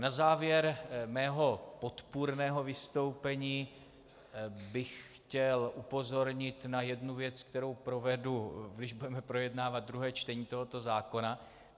Na závěr svého podpůrného vystoupení bych chtěl upozornit na jednu věc, kterou provedu, když budeme projednávat druhé čtení tohoto zákona.